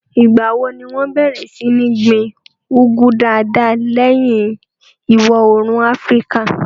Ìgbà wo ni wọn bẹ̀rẹ̀ sí ní gbin úgú dáadáa lẹ́yìn ìwọòrùn áfríkà?